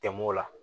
Tɛmɛn'o la